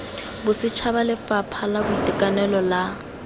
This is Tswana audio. bosetšhaba lefapha la boitekanelo la